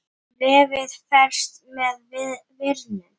Og hér vandast málið.